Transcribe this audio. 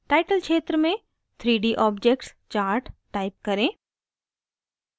title क्षेत्र में 3d objects chart type करें